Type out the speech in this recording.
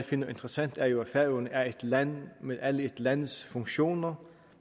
finder interessant er jo at færøerne er et land med alle et lands funktioner